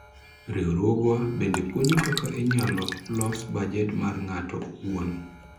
Riwruogwa bende puonjo kaka inyalo los bajet mar ng'ato owuon